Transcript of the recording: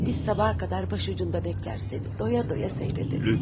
Biz sabaha qədər başucunda gözləyərik, səni doya-doya seyredərik.